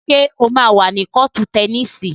Ṣé o máa wà ní kọ́ọ̀tù tẹníìsì?